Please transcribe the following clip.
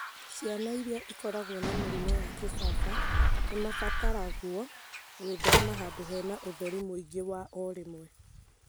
Ciana iria ikoragwo na mũrimũ wa kĩbaba nĩ mabataragwo gwĩthema handũ hena ũtheri mũingĩ wa o rĩmwe